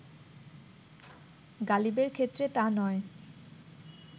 গালিবের ক্ষেত্রে তা নয়